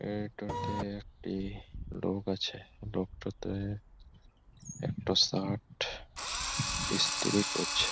এটাতে একটি লোক আছে। লোকটাতে একটা শার্ট ইস্ত্রী করছে।